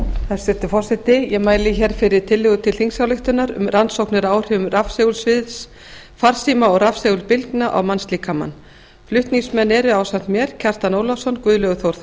hæstvirtur forseti ég mæli hér fyrir til tillögu til þingsályktunar um rannsóknir á áhrifum rafsegulsviðs farsíma og rafsegulbylgna á mannslíkamann flutningsmenn eru ásamt mér kjartan ólafsson guðlaugur þór